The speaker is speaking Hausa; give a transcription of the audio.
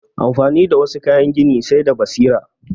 Amfani da wassu kayan gini sai da basira